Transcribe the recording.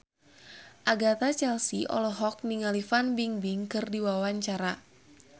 Agatha Chelsea olohok ningali Fan Bingbing keur diwawancara